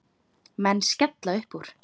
Menn skella uppúr.